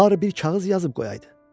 Barı bir kağız yazıb qoyaydı.